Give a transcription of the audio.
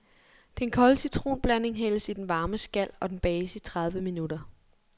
Den kolde citronblanding hældes i den varme skal, og den bages i tredive minutter.